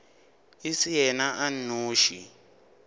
e se yena a nnoši